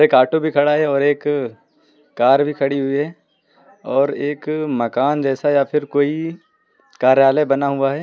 काटो पे खड़ा है और एक कार भी खड़ी हुई है और एक मकान जैसा या फिर कोई कार्यालय बना हुआ है।